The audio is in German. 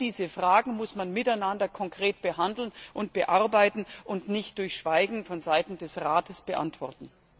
Alle diese Fragen muss man miteinander konkret behandeln und bearbeiten und nicht durch Schweigen vonseiten des Rates beantworten.